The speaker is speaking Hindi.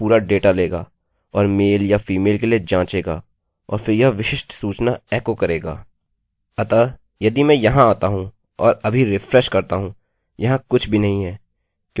अतः यदि मैं यहाँ आता हूँ और अभी रिफ्रेशrefreshकरता हूँ यहाँ कुछ भी नहीं है क्योंकि कोई भी डेटा इन फॉर्म वेरिएबल्स में नहीं दिया गया है